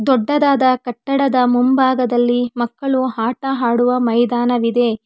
ದೊಡ್ಡದಾದ ಕಟ್ಟಡದ ಮುಂಭಾಗದಲ್ಲಿ ಮಕ್ಕಳು ಆಟ ಆಡುವ ಮೈದಾನವಿದೆ.